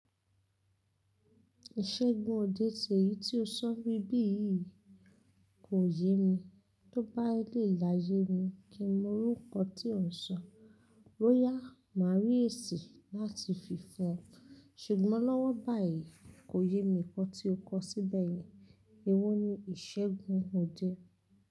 Ìṣègùn òde sèyí tí o sọ bí bí yìí kò yé mi. Tóbá lè láyé mi kí n mọ orúkọ tí ò ń sọ. Royal Marieèsì láti fi fún ọ. Ṣùgbọ́n lọ́wọ́ báyìí kòyémi nkan tí o kọ síbẹ̀ yì. Èwo ni ìṣègùn òde?